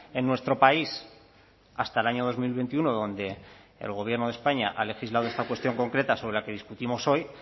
en nuestro país hasta el año dos mil veintiuno donde el gobierno de españa ha legislado esta cuestión concreta sobre la que discutimos hoy